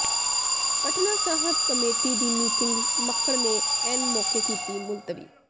Patna Sahib committee ਦੀ meeting Makkar ਨੇ ਐਨ ਮੌਕੇ ਕੀਤੀ ਮੁਲਤਵੀ